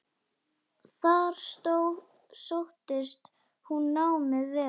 Þar sóttist honum námið vel.